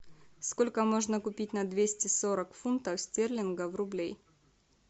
сколько можно купить на двести сорок фунтов стерлингов рублей